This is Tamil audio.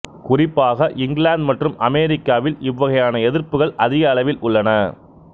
குறிப்பாக இங்கிலாந்து மற்றும் அமெரிக்காவில் இவ்வகையான எதிர்ப்புகள் அதிக அளவில் உள்ளன